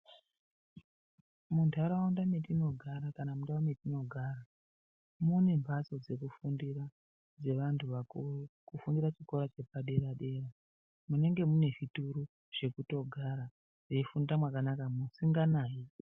Muntaraunda metinogara kana kuti mundau metinogara mune mphatso dzekufundira dzevantu vakuru. Kufundira chikora chepa dera dera munenge mune zvituru zvekutogara veifunda mwakanaka musinganayi.